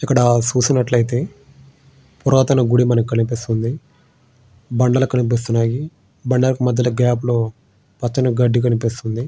ఇక్కడ చూసినట్లయితే పురాతన గుడి కనిపిస్తుంది బండలు కనిపిస్తూ ఉన్నాయి. బండలు మధ్యలోనే పచ్చని గడ్డి కనిపిస్తుంది.